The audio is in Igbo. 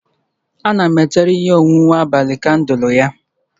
Ana m echere ihe onwunwe abalị kandụl ya